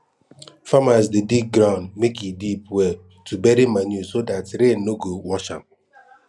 farmers dey dig ground make e deep well to bury manure so dat rain no go wash am